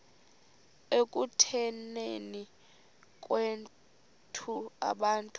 ekutuneni kwethu abantu